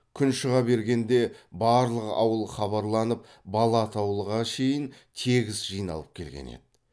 күн шыға бергенде барлық ауыл хабарланып бала атаулыға шейін тегіс жиналып келген еді